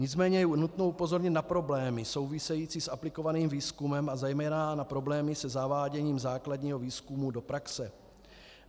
Nicméně je nutno upozornit na problémy související s aplikovaným výzkumem a zejména na problémy se zaváděním základního výzkumu do praxe.